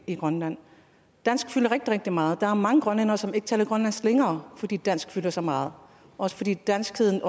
i grønland dansk fylder rigtig rigtig meget der er mange grønlændere som ikke taler grønlandsk længere fordi dansk fylder så meget også fordi danskheden